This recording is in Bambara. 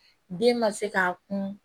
Den ma se k'a kun